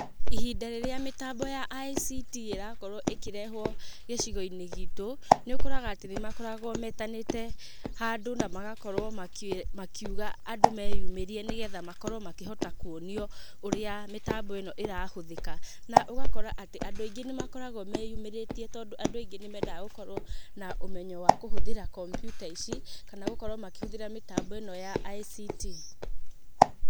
Ihinda rĩrĩa mĩtambo ya ICT ĩrakorwo ĩkĩrehwo gĩcigo-inĩ giitũ, nĩ ũkoraga atĩ nĩ makoragwo metanĩte handũ na magakorwo makĩuga andũ meyumĩrie nĩgetha makorwo makĩhota kuonio ũrĩa mĩtambo ĩno ĩrahũthĩka. Na ũgakora atĩ andũ aingĩ nĩ makoragwo meyumĩrĩtie tondũ andũ aingĩ nĩ mendaga gũkorwo na ũmenyo wa kũhũthĩra kompiuta ici, kana gũkorwo makĩhũthĩra mĩtambo ĩno ya ICT.